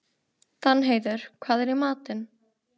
Danheiður, hvað er í matinn?